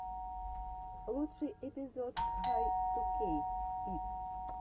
лучший эпизод хай ту кейк ит